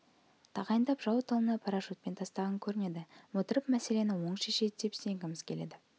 тағайындап жау тылына парашютпен тастаған көрінеді отырып мәселені оң шешеді деп сенгіміз келеді